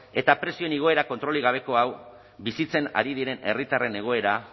eta prezioen igoerak kontrolik gabeko hau bizitzen ari diren herritarren egoera